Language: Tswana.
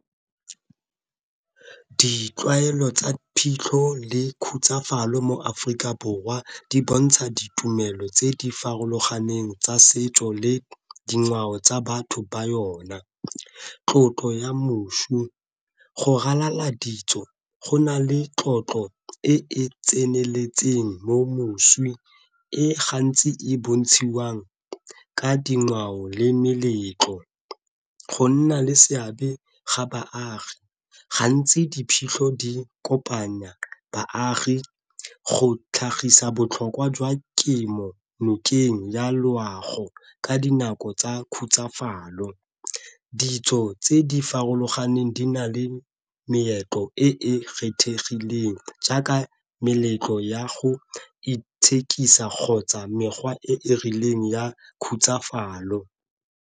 Ditlwaelo tsa phitlho le khutsafalo mo Aforika Borwa di bontsha ditumelo tse di farologaneng tsa setso le dingwao tsa batho ba yona. Tlotlo ya go ralala ditso go na le tlotlo e e tseneletseng mo moswi e gantsi e bontshiwang ka dingwao le meletlo, go nna le seabe ga baagi. Gantsi diphitlho di kopanya baagi go tlhagisa botlhokwa jwa kemo nokeng ya loago ka dinako tsa khutsafalo. Ditso tse di farologaneng di na le meetlo e e kgethegileng jaaka meletlo ya go itshekisa kgotsa mekgwa e e rileng ya khutsafalo.